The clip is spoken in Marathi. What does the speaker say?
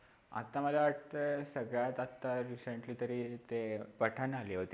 आत्ता मला वाटत सगळ्यात आत्ता recently तरी ते पठाण आली होती.